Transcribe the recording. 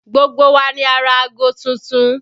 Gbogbo wa ni a rà ago tuntun